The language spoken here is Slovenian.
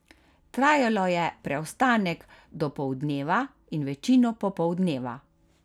Trajalo je preostanek dopoldneva in večino popoldneva.